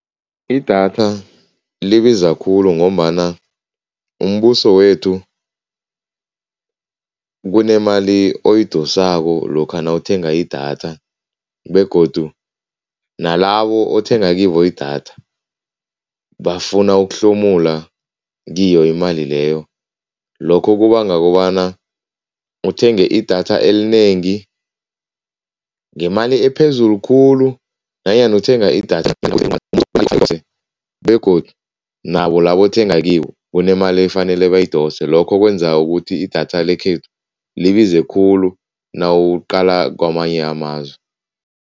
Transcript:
Idatha libiza khulu ngombana umbuso wethu kunemali oyidosako lokha nawuthenga idatha begodu nalabo othenga kibo idatha, bafuna ukuhlomula kiyo imali leyo. Lokho kubanga kobana uthenge idatha elinengi ngemali ephezulu khulu nanyana uthenge idatha begodu nabo labo othenga kibo kunemali efanele bayidose, lokho kwenza ukuthi idatha lekhethu libize khulu nawuliqala kwamanye amazwe.